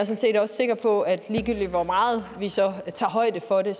set også sikker på at ligegyldigt hvor meget vi så tager højde for det